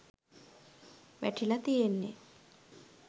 වැටිලා තියෙන්නෙ